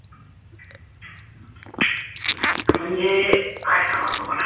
म्हणजे काय सांगावं तुम्हाला